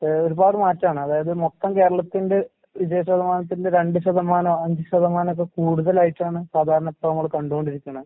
ഏഹ് ഒരുപാട് മാറ്റാണ്. അതായത് മൊത്തം കേരളത്തിന്റെ വിജയ ശതമാനത്തിന്റെ രണ്ട് ശതമാനോ അഞ്ച് ശതമാനോ ഒക്കെ കൂടുതലായിട്ടാണ് സാധാരണ ഇപ്പ നമ്മള് കണ്ടുകൊണ്ടിരിക്കണെ.